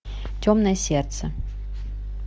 темное сердце